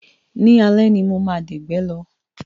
Ní alẹ́ ni mo máa dẹ̀gbẹ́ lọ